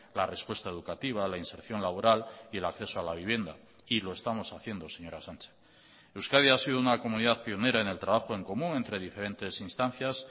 la respuesta educativa la inserción laboral y el acceso a la vivienda y lo estamos haciendo señora sánchez euskadi ha sido una comunidad pionera en el trabajo en común entre diferentes instancias